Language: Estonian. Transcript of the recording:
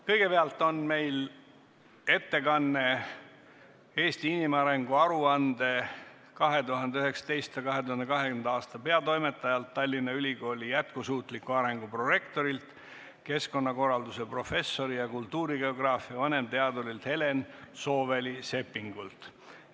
Kõigepealt on ettekanne "Eesti inimarengu aruande 2019/2020" peatoimetajalt, Tallinna Ülikooli jätkusuutliku arengu prorektorilt, keskkonnakorralduse professorilt ja kultuurigeograafia vanemteadurilt Helen Sooväli-Seppingult.